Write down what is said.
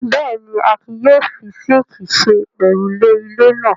Bẹ́ẹ̀ ni, Akin yóò fi síńkì ṣe òrùlé ilé náà.